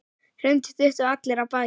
Hrund: Duttu allir af baki?